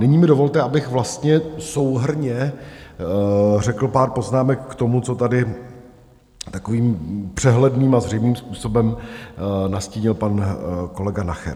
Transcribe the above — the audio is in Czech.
Nyní mi dovolte, abych vlastně souhrnně řekl pár poznámek k tomu, co tady takovým přehledným a zřejmým způsobem nastínil pan kolega Nacher.